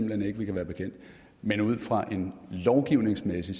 hen ikke vi kan være bekendt men ud fra en lovgivningsmæssig